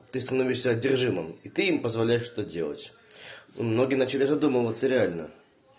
ты становишься одержимым и ты им позволяешь что делать многие начали задумываться реально